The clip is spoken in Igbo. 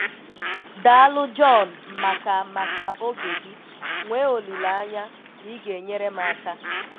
Daalụ john maka maka oge gị, nwee olileanya na ị ga-enyere m aka.